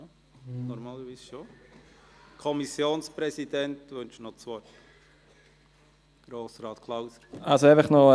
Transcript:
Der Kommissionspräsident wünscht zuerst noch das Wort.